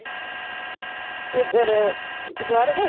ਇੱਧਰ ਗੁਰੁਦੁਆਰੇ